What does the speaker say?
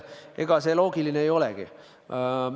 Ega see loogiline ei olegi.